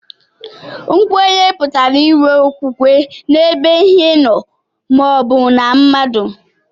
Nkwenye pụtara inwe okwukwe n'ebe Ihe nó ma o bu na mmadu